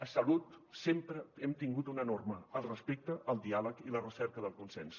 a salut sempre hem tingut una norma el respecte el diàleg i la recerca del consens